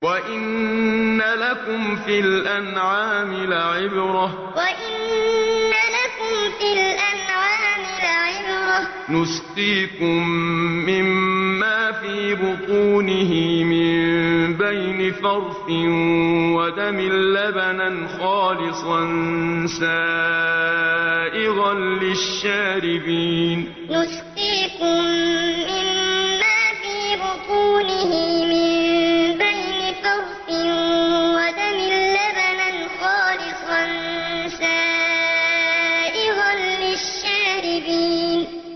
وَإِنَّ لَكُمْ فِي الْأَنْعَامِ لَعِبْرَةً ۖ نُّسْقِيكُم مِّمَّا فِي بُطُونِهِ مِن بَيْنِ فَرْثٍ وَدَمٍ لَّبَنًا خَالِصًا سَائِغًا لِّلشَّارِبِينَ وَإِنَّ لَكُمْ فِي الْأَنْعَامِ لَعِبْرَةً ۖ نُّسْقِيكُم مِّمَّا فِي بُطُونِهِ مِن بَيْنِ فَرْثٍ وَدَمٍ لَّبَنًا خَالِصًا سَائِغًا لِّلشَّارِبِينَ